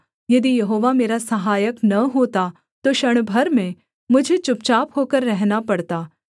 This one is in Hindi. यदि यहोवा मेरा सहायक न होता तो क्षण भर में मुझे चुपचाप होकर रहना पड़ता